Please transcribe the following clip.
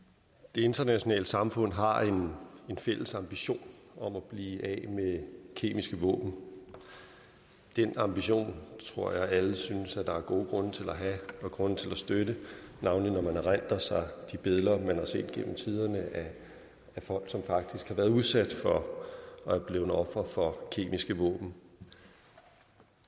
internationale samfund har en fælles ambition om at blive af med kemiske våben den ambition tror jeg alle synes at der er gode grunde til at have og grunde til at støtte navnlig når man erindrer sig de billeder man har set gennem tiderne af folk som faktisk har været udsat for og er blevet ofre for kemiske våben